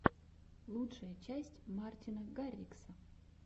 лучшая часть мартина гаррикса